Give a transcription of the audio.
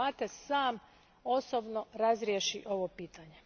Mates sam osobno razriješi ovo pitanje.